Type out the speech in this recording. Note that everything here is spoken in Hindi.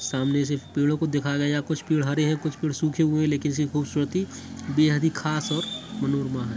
सामने से पेड़ो को देखा गया यहां कुछ पेड़ हरे हैं कुछ पेड़ सूखे हुए हैं खूबसूरती बेहद ही खास और मनोरमा है।